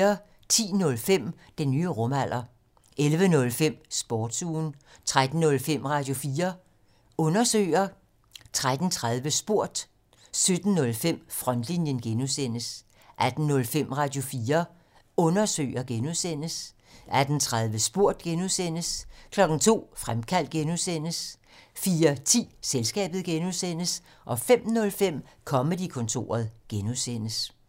10:05: Den nye rumalder 11:05: Sportsugen 13:05: Radio4 Undersøger 13:30: Spurgt 17:05: Frontlinjen (G) 18:05: Radio4 Undersøger (G) 18:30: Spurgt (G) 02:00: Fremkaldt (G) 04:10: Selskabet (G) 05:05: Comedy-kontoret (G)